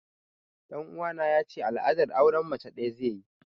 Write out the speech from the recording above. Ɗan uwana ya ce al'adar auren mace ɗaya zai yi